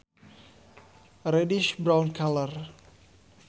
A reddish brown color